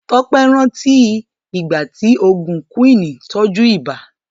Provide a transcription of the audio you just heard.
Tọ́pé rántí ìgbà tí oògùn Quinn tọ́jú ibà.